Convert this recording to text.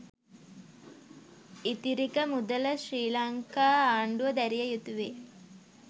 ඉතිරික මුදල ශ්‍රී ලංකා ආණ්ඩුව දැරිය යුතු වේ